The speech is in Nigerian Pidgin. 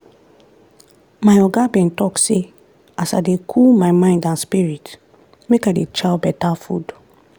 my oga bin talk say as i dey cool my mind and spirit make i dey chow beta food.